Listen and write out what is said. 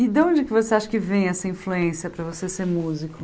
E de onde você acha que vem essa influência para você ser músico?